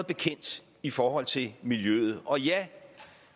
bekendt i forhold til miljøet og ja